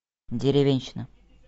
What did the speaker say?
деревенщина